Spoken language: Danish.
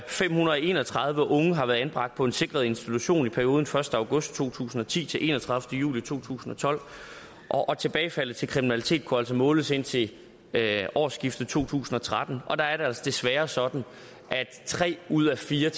fem hundrede og en og tredive unge har været anbragt på en sikret institution i perioden første august to tusind og ti til enogtredivete juli to tusind og tolv og tilbagefaldet til kriminalitet kunne altså måles indtil årsskiftet to tusind og tretten og der er det altså desværre sådan at tre ud af fire